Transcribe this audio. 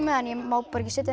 það en ég má bara ekki setja það